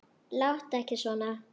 Láttu ekki svona